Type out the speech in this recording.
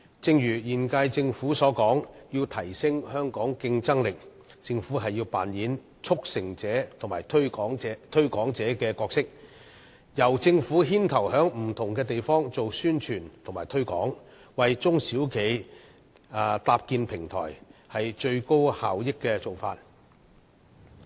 正如今屆政府所說，要提升香港競爭力，政府便要扮演促成者和推廣者的角色，由政府牽頭在不同地方進行宣傳推廣，為中小企搭建平台，這是最高效益的做法。